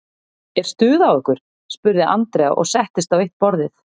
Er stuð á ykkur? spurði Andrea og settist á eitt borðið.